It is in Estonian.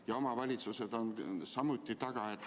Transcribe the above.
Ja omavalitsused on samuti taga.